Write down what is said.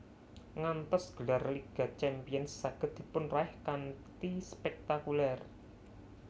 Ngantos gelar Liga Champions saged dipunraih kanthi spektakuler